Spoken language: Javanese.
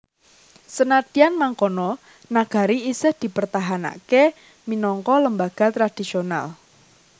Senadyan mangkono nagari isih dipertahanaké minangka lembaga tradisional